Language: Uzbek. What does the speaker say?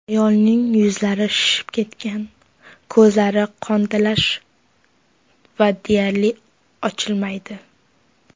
Ayolning yuzlari shishib ketgan, ko‘zlari qontalash va deyarli ochilmaydi.